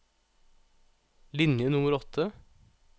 Linje nummer åtte